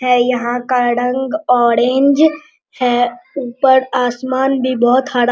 है यहाँ का रंग ऑरेंज है ऊपर आसमान भी बहुत हरा --